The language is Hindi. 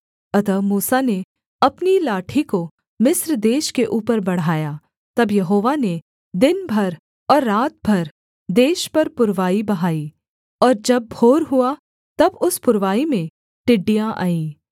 अतः मूसा ने अपनी लाठी को मिस्र देश के ऊपर बढ़ाया तब यहोवा ने दिन भर और रात भर देश पर पुरवाई बहाई और जब भोर हुआ तब उस पुरवाई में टिड्डियाँ आईं